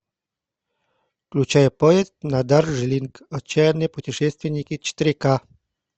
включай поезд на дарджилинг отчаянные путешественники четыре ка